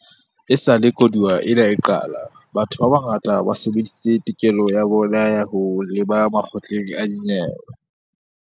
Esale koduwa ena e qala, batho ba bangata ba sebedisitse tokelo ya bona ya ho leba makgotleng a dinyewe.